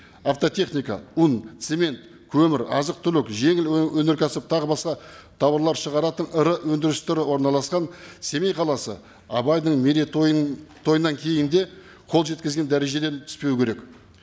автотехника ұн цемент көмір азық түлік жеңіл өңеркәсіп тағы басқа тауарлар шығаратын ірі өндірістері орналасқан семей қаласы абайдың мерейтойын тойынан кейін де қол жеткізген дәрежеден түспеуі керек